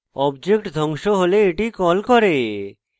object ধ্বংস হলে এটি কল করে